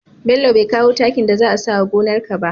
Bello be kawo takin da za a sawa gonar ka ba